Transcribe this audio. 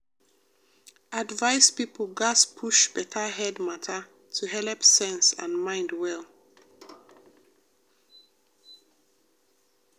advice people gatz push better head matter to helep sense and mind well.